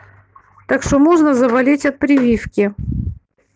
так что можно заболеть от прививки